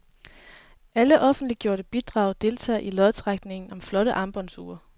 Alle offentliggjorte bidrag deltager i lodtrækningen om flotte armbåndsure.